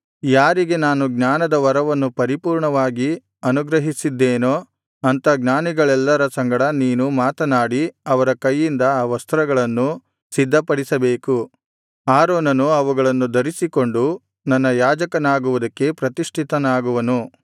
ಯಾರಿಗೆ ನಾನು ಜ್ಞಾನದ ವರವನ್ನು ಪರಿಪೂರ್ಣವಾಗಿ ಅನುಗ್ರಹಿಸಿದ್ದೇನೋ ಅಂಥ ಜ್ಞಾನಿಗಳೆಲ್ಲರ ಸಂಗಡ ನೀನು ಮಾತನಾಡಿ ಅವರ ಕೈಯಿಂದ ಆ ವಸ್ತ್ರಗಳನ್ನು ಸಿದ್ಧಪಡಿಸಬೇಕು ಆರೋನನು ಅವುಗಳನ್ನು ಧರಿಸಿಕೊಂಡು ನನ್ನ ಯಾಜಕನಾಗುವುದಕ್ಕೆ ಪ್ರತಿಷ್ಠಿತನಾಗುವನು